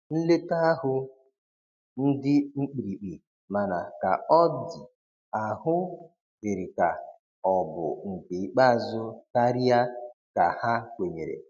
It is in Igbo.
Nleta ahu ndi mkpirikpi, mana ka ọ di ahụ diri ka ọ bụ nke ikpeazu karia ka ha kwenyere.